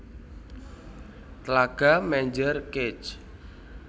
Tlaga Menjer Kec